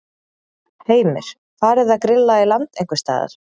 Heimir: Farið að grilla í land einhvers staðar?